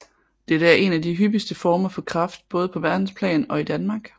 Det er en af de hyppigste former for kræft både på verdensplan og i Danmark